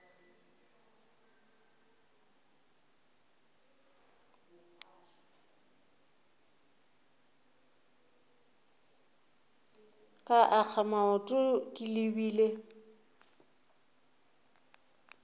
ka akga maoto ke lebile